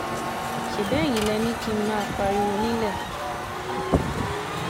ṣebí eyín lẹ ní kí n má máa pariwo nílẹ̀